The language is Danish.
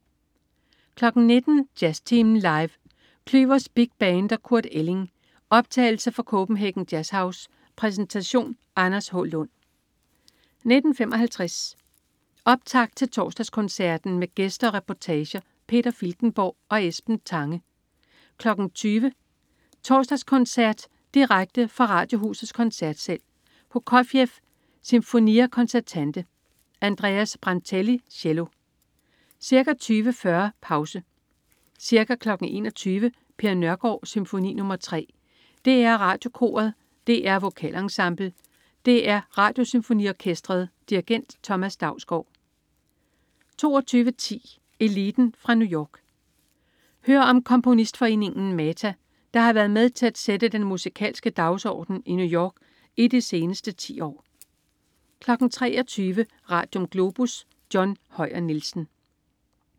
19.00 Jazztimen Live. Klüvers Big Band & Kurt Elling. Optagelse fra Copenhagen JazzHouse. Præsentation: Anders H. Lund 19.55 Optakt til Torsdagskoncerten. Med gæster og reportage. Peter Filtenborg og Esben Tange 20.00 Torsdagskoncert. Direkte fra Radiohusets Koncertsal. Prokofjev: Sinfonia Concertante. Andreas Brantelli, cello. Ca. 20.40 Pause. Ca. 21.00 Per Nørgård: Symfoni nr. 3. DR Radiokoret. DR Vokalensemblet. DR Radiosymfoniorkestret. Dirigent: Thomas Dausgaard 22.10 Eliten fra New York. Hør om komponistforeningen MATA, der har været med til at sætte den musikalske dagsorden i New York i de seneste 10 år 23.00 Radium. Globus. John Høyer Nielsen